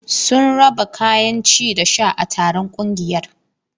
Sun raba kayan ci da sha a taron ƙungiyar.